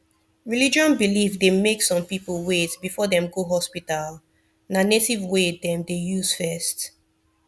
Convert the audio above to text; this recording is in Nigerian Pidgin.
religion belief dey make some people wait before dem go hospital na native way dem dey use first